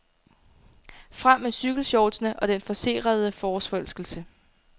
Frem med cykelshortsene og den forcerede forårsforelskelse.